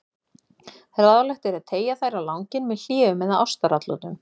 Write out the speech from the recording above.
Ráðlegt er að teygja þær á langinn með hléum eða ástaratlotum.